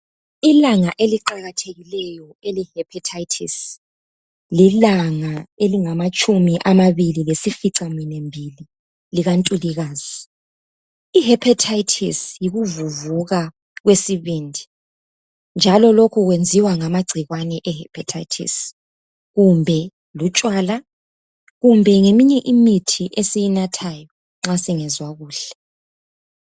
Ilanga eliqhakazileyo ele hepatitis lilanga elingamatshumi amabili lesifica minwe mibili likaNtulikazi. I hepatitis yikuvuvuka kwesibindi njalo lokhu kwenziwa ngamagcikwane e hepatitis kumbe lutshwala kumbe ngeminye imithi esiyinathayo nxa singezwa kuhle.